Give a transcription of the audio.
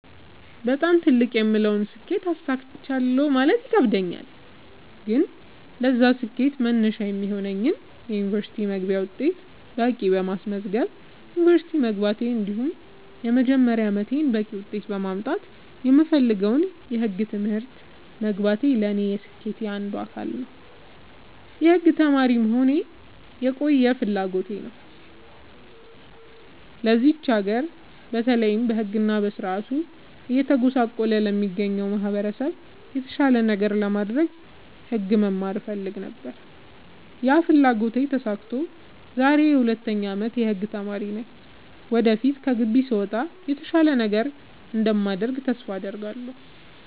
በጣም ትልቅ የምለውን ስኬት አሳክቻለሁ ማለት ይከብደኛል። ግን ለዛ ስኬት መነሻ የሚሆነኝን የ ዩኒቨርስቲ መግቢያ ውጤት በቂ በማስመዝገብ ዩንቨርስቲ መግባቴ እንዲሁም የመጀመሪያ አመቴን በቂ ውጤት በማምጣት የምፈልገውን የህግ ትምህርት መግባቴ ለኔ የስኬቴ አንዱ አካል ነው። የህግ ተማሪ መሆን የቆየ ፍላጎቴ ነው ለዚች ሀገር በተለይ በህግ እና በስርዓቱ እየተጎሳቆለ ለሚገኘው ማህበረሰብ የተሻለ ነገር ለማድረግ ህግ መማር እፈልግ ነበር ያ ፍላጎቴ ተሳክቶ ዛሬ የ 2ኛ አመት የህግ ተማሪ ነኝ ወደፊት ከግቢ ስወጣ የተሻለ ነገር እንደማደርግ ተስፋ አድርጋለሁ።